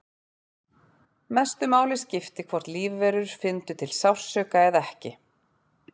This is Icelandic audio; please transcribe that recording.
Mestu máli skipti hvort lífverur fyndu til sársauka eða ekki.